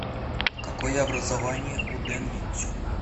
какое образование у дэн лицюнь